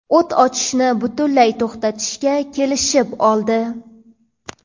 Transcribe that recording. o‘t ochishni butunlay to‘xtatishga kelishib oldi.